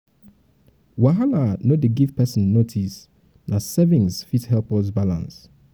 wahala no dey um give um pesin notice na savings fit help us balance.